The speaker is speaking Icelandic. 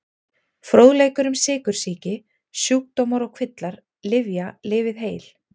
Fróðleikur um sykursýki Sjúkdómar og kvillar Lyfja- Lifið heil.